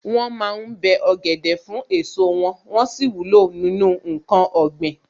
Wọ́n ma ń bẹ́ ọ̀gẹ̀dẹ̀ fún èso wọn, wón sì wúlò nínú ǹkan ọ̀gbìn.